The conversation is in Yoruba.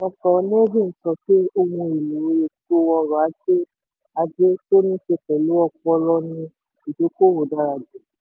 dr. nevin sọ pé ohun èlò ètò ọ̀rọ̀ ajé ajé tó níse pẹ̀lú ọpọlọ ni ìdókòwó dára jù.